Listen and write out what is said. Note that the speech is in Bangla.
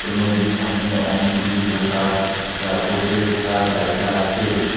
নদীর সামনে অনেকগুলি বসার যা বসে থাকার জায়গা আছে।